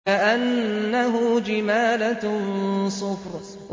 كَأَنَّهُ جِمَالَتٌ صُفْرٌ